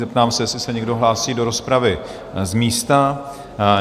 Zeptám se, jestli se někdo hlásí do rozpravy z místa?